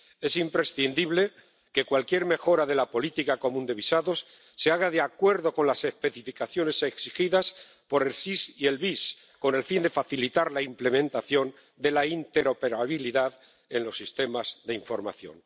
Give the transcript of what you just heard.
Es imprescindible que cualquier mejora de la política común de visados se haga de acuerdo con las especificaciones exigidas por el SIS y el VIS, con el fin de facilitar la implementación de la interoperabilidad en los sistemas de información.